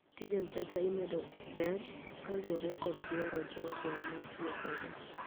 tij mpesa imedo ber kaluore kod dwaro jogo ma tiyo kode